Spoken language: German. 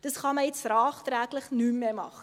Das kann man jetzt nachträglich nicht mehr machen.